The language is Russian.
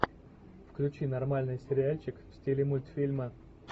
включи нормальный сериальчик в стиле мультфильма